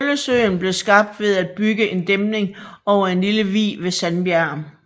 Møllesøen blev skabt ved at bygge en dæmning over en lille vig ved Sandbjerg